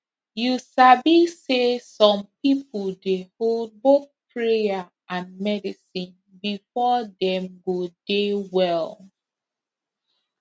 you sabi say some people dey hold both prayer and medicine before dem go dey well